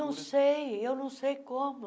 Não sei, eu não sei como.